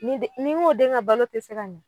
Nin den. Ni n k'o den ka balo te se ka ɲɛ